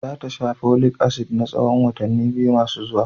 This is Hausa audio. Za ta sha Folic asidi na tsahon watanni biyu masu zuwa.